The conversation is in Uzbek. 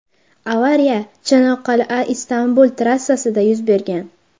Avariya Chanoqqal’aIstanbul trassasida yuz bergan.